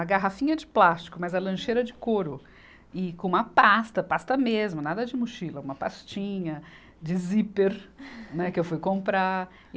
A garrafinha de plástico, mas a lancheira de couro e com uma pasta, pasta mesmo, nada de mochila, uma pastinha de zíper, né que eu fui comprar.